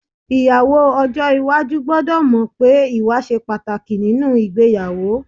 Ìyàwó ọjọ́ iwájú gbọ́dọ̀ mọ̀ pé ìwà ṣe pàtàkì nínú ìgbéyàwó